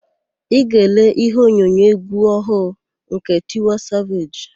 Ị ga-ele íhé onyonyo égwú ọhụụ nke Tiwa Saveji?